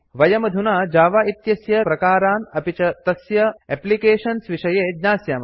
वयमधुना जावा इत्यस्य कतिचन प्रकारान् अपि च तस्य एप्लिकेशन्स विषये ज्ञास्यामः